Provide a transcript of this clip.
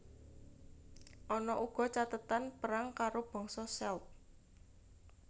Ana uga cathetan perang karo bangsa Celt